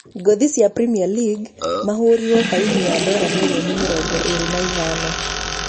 Ngũthi icio cia premier League mahũũrĩtwo baĩni ya dora mirioni mĩrongo ĩĩrĩ na ithano